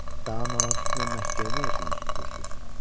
Daha namaz üstünə Məkkəyə nə üçün üz tutursunuz?